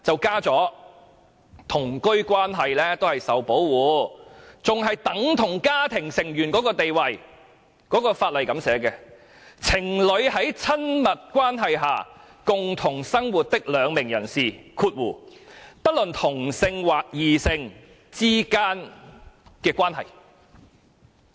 《家庭及同居關係暴力條例》訂明同居關係是指，"作為情侶在親密關係下共同生活的兩名人士之間的關係"。